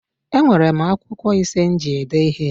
Enwere m akwụkwọ ise m ji ede ihe